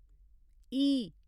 ई